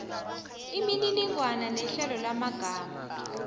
imininingwana nehlelo lamagama